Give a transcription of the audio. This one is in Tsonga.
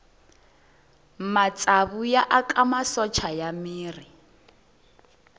matsavu ya aka masocha ya miri